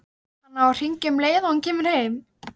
Hann á að hringja um leið og hann kemur heim.